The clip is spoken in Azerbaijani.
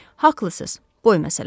Haqlısız, boy məsələsi.